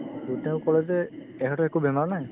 to তেওঁ ক'লে যে এখেতৰ একো বেমাৰ নাই